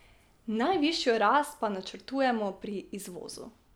Najvišjo rast pa načrtujemo pri izvozu.